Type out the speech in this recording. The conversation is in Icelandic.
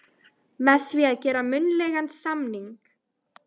með því að gera munnlegan samning.